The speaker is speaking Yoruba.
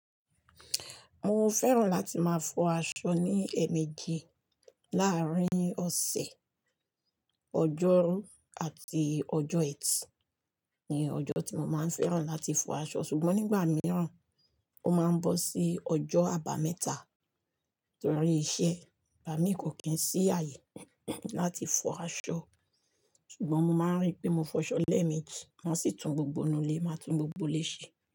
Mo fẹ́ràn láti máa fọ aṣọ ní èèmejì láàárín ọ̀sẹ̀. Ọjọ́rú àti ọjọ́ ẹtì ni ọjọ́ tí mo máa ń fẹ́ràn láti fọ aṣọ. Ṣùgbọ́n nígbà mìíràn, ó máa ń bọ́ sí ọjọ́ àbámẹ́ta nítorí iṣẹ́. Bà mí kò kín sí ààyè láti fọ aṣọ. Ṣùgbọ́n mo máa ń rí pé mo fọ aṣọ lẹ́ẹ̀mejì má sì tún gbogbo inú ilé má tún gbogbo ilé ṣe.